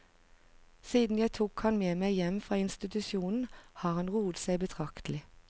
Siden jeg tok han med meg hjem fra institusjonen, har han roet seg betraktelig.